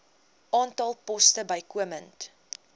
aantal poste bykomend